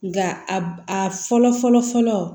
Nka a fɔlɔ fɔlɔ fɔlɔ